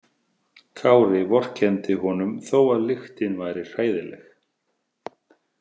Kári vorkenndi honum þó að lyktin væri hræðileg.